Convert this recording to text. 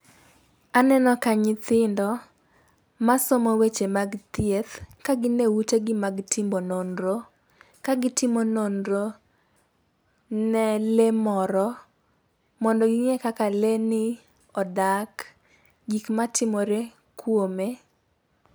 Aneno ka nyithindo ma somo weche mag thieth ka gin e utegi mag timo nonro, ka gi timo nonro ne lee moro mondo ging'e kaka lee ni odak, gik matimore kuome.